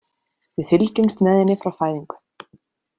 Við fylgjumst með henni frá fæðingu.